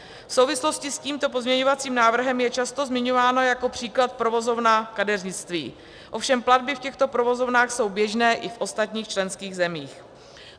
V souvislosti s tímto pozměňovacím návrhem je často zmiňována jako příklad provozovna kadeřnictví, ovšem platby v těchto provozovnách jsou běžné i v ostatních členských zemích.